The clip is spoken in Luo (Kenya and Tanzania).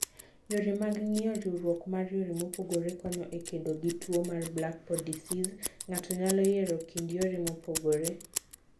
Yore mag ngiyo: riwrok mar yore mopogore konyo e kedo gi tuo mar black pod diseas. Ngato nyalo yiero kind yore mopogore.